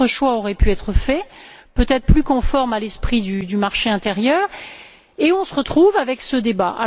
D'autres choix auraient pu être faits, peut être plus conformes à l'esprit du marché intérieur, et on se retrouve avec ce débat.